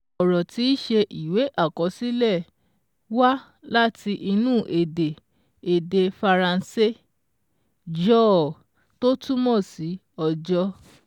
Ọ̀rọ̀ tíí ṣe ìwé àkọsílẹ̀ wá láti inú èdè èdè Faransé. Jour tó túmọ̀ sí "Ọjọ́"